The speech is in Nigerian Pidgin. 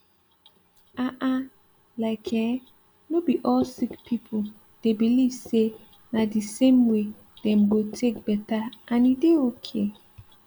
ah ah like eh no be all sick pipo dey believe say na d same way dem go take better and e dey okay